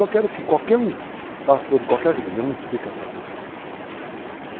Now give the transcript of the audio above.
Só quero que qualquer um, pastor de qualquer religião, explique essa frase.